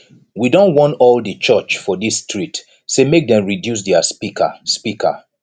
we don warn all di church for dis street sey make dem reduce their speaker speaker